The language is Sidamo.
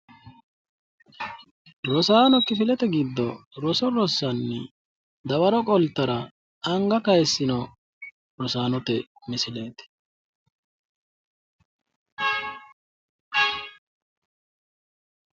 rosaanno kifilete giddo roso rossanni dawaro qoltara anga kaaysino rosaanote misileeti.